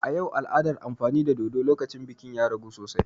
A yau, al'adar amfani da dodo lokacin biki ya ragu sosai.